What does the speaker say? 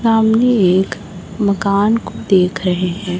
सामने एक मकान को देख रहे है।